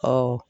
Awɔ